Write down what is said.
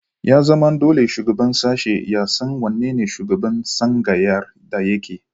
Ya zama dole shugaban sashe ya san wane ne shugaban tsangayar da yake